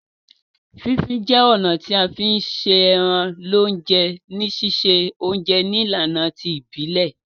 Fí fin je ọ̀nà ti a fi n se eran lọ́jọ̀ ni sise ounje nílànà ti ìbílẹ̀